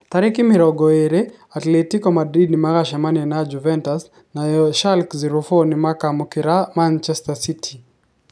Tarĩki mĩrongo ĩrĩ, Atletico Madrid nĩ magacemania na Juventus, nayo Schalke 04 nĩkamũkĩra Manchester City.